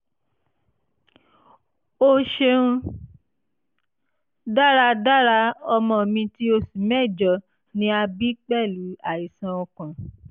o ṣeun:) daradara ọmọ mi ti oṣu mẹjọ ni a bi pẹlu aisan ọkàn